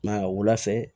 Ma wula fɛ